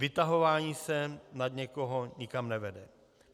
Vytahování se nad někoho nikam nevede.